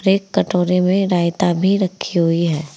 एक कटोरे में रायता भी रखी हुई है।